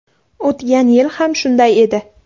O‘tgan yil ham shunday edi.